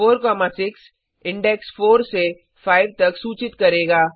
4 6 index 4 से 5 तक सूचित करेगा